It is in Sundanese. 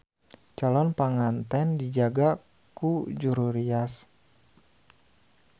Calon panganten dijaga ku juru rias.